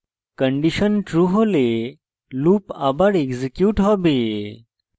condition true হলে loop আবার execute হবে